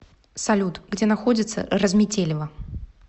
салют где находится разметелево